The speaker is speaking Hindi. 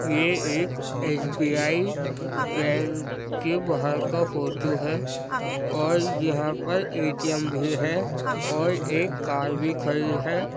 ये एक एस बी आई बैंक के बाहर का फोटो है और यहां पर ए.टी.एम. भी है और एक कार भी खड़ी है।